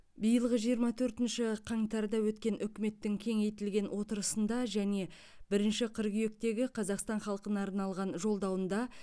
биылғы жиырма төртінші қаңтарда өткен үкіметтің кеңейтілген отырысында және бірінші қыркүйектегі қазақстан халқына арналған жолдауында